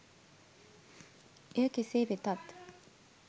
එය කෙසේ වෙතත්